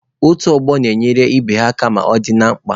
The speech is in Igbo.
Otu ọgbọ na-enyere ibe ha aka ma ọ dị na mkpa.